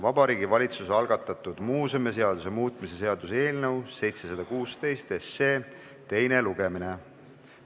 Vabariigi Valitsuse algatatud muuseumiseaduse muutmise seaduse eelnõu 716 teine lugemine.